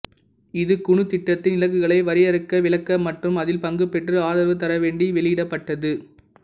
இது குனு திட்டத்தின் இலக்குகளை வரையறுக்க விளக்க மற்றும் அதில் பங்குபெற்று ஆதரவு தர வேண்டி வெளியிடப்பட்டது